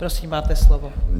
Prosím, máte slovo.